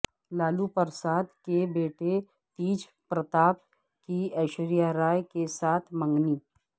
لالو پرساد کے بیٹے تیج پرتاپ کی ایشوریہ رائے کےساتھ منگنی